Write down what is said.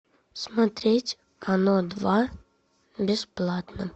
смотреть оно два бесплатно